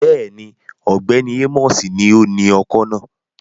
Bẹ́ẹ̀ni, Ọgbẹni Amosi ni oni ọ́kọ náa